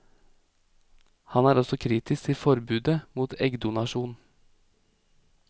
Han er også kritisk til forbudet mot eggdonasjon.